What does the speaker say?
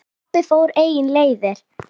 Pabbi fór eigin leiðir.